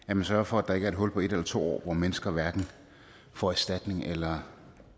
at man sørger for at der ikke er et hul på en eller to år hvor mennesker hverken får erstatning eller